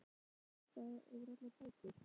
Hún fékk fram lista yfir allar bækur